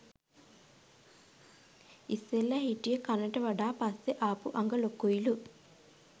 ඉස්සෙල්ලා හිටිය කනට වඩා පස්සේ ආපු අඟ ලොකුයිලු